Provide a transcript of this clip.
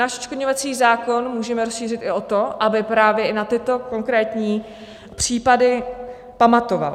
Náš odškodňovací zákon můžeme rozšířit i o to, aby právě i na tyto konkrétní případy pamatoval.